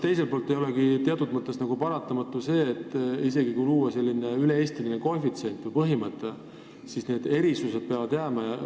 Teiselt poolt aga, kas ei olegi teatud mõttes paratamatu, et isegi kui luua selline üle-eestiline koefitsient või üldine põhimõte, siis erisused jäävad ikka?